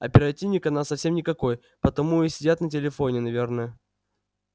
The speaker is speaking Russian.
оперативник она совсем никакой потому и сидит на телефоне наверное